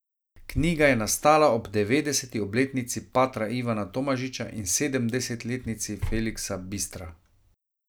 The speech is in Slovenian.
Knjiga je nastala ob devetdeseti obletnici patra Ivana Tomažiča in sedemdesetletnici Feliksa Bistra.